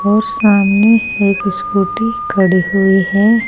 और सामने एक स्कूटी खड़ी हुई है।